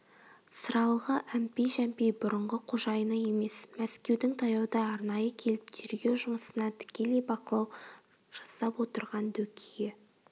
сыралғы әмпей-жәмпей бұрынғы қожайыны емес мәскеудің таяуда арнайы келіп тергеу жұмысына тікелей бақылау жасап отырған дөкейі